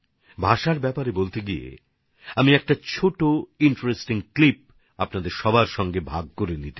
ভাষার সম্পর্কে কথা বলতে গিয়ে আমি একটা ছোট মজার ক্লিপ আপনাদের সংগে শেয়ার করতে চাই